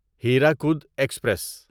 Hirakud express